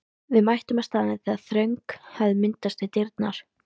Við mættum á staðinn þegar þröng hafði myndast við dyrnar.